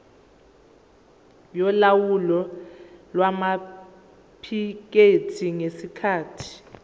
yolawulo lwamaphikethi ngesikhathi